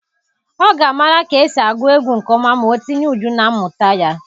Ọ ga-amara ka esi agụ egwu nke ọma ma o tinye uju na mmụta ya.